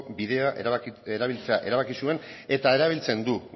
bidea erabiltzea erabaki zuen eta erabiltzen du